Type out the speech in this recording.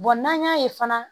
n'an y'a ye fana